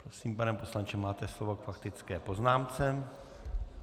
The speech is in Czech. Prosím, pane poslanče, máte slovo k faktické poznámce.